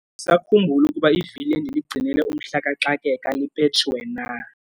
Andisakhumbuli ukuba ivili endiligcinele umhla kaxakeka lipetshiwe na.